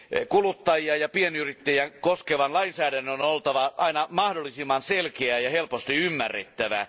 Kuluttajia ja pienyrittäjiä koskevan lainsäädännön on oltava aina mahdollisimman selkeää ja helposti ymmärrettävää.